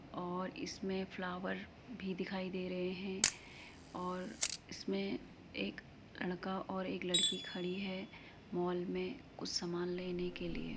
और इसमें फ्लावर भी दिखाई दे रहे हैं और इसमें एक लड़का और लड़की खड़ी है मॉल में कुछ सामान लेने के लिये।